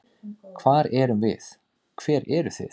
Hver erum við, hver eru þið?